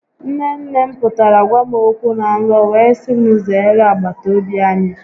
Nne nne m pụtara gwa m okwu na nrọ wee si m zeere agbatobi anyị